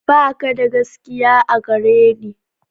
Ba ka da gaskiya a gare ni.